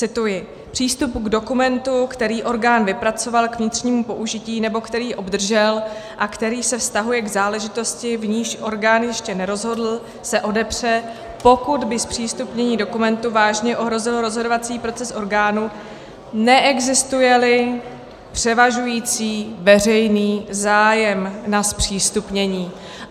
Cituji: "Přístup k dokumentu, který orgán vypracoval k vnitřnímu použití nebo který obdržel a který se vztahuje k záležitosti, v níž orgán ještě nerozhodl, se odepře, pokud by zpřístupnění dokumentu vážně ohrozilo rozhodovací proces orgánu, neexistuje-li převažující veřejný zájem na zpřístupnění."